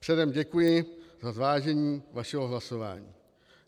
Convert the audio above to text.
Předem děkuji za zvážení vašeho hlasování.